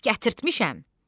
Gətirtmişəm.